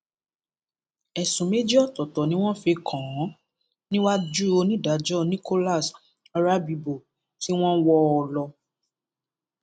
ẹsùn méjì ọtọọtọ ni wọn fi kàn án níwájú onídàájọ nicholas orábibó tí wọn wọ ọ ọ lọ